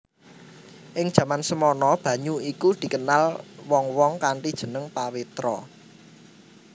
Ing jaman semana banyu iku dikenal wong wong kanthi jeneng Pawitra